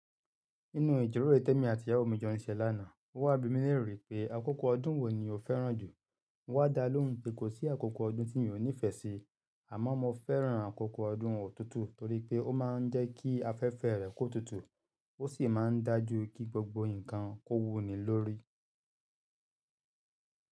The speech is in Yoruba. Nínú ìjíròrò Tẹ́mi àti ìyàwó mi jọ níṣẹ́ lánàá, ó wá bi mí léèrè pé àkókò ọdún wo ni o fẹ́ràn jù. Wá dalóhùn pé kò sí àkókò ọdún tí yóò nífẹ́ si, àmọ́ mo fẹ́ràn àkókò ọdún ọ̀tútù torí pé ó máa ń jẹ́ kí afẹ́fẹ́ rẹ̀ kó tutù, ó sì máa ń dájú kí gbogbo nǹkan kó wú ni lórí.